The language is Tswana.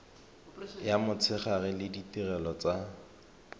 ya motshegare le ditirelo tsa